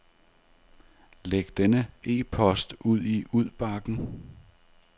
Læg denne e-post i udbakken.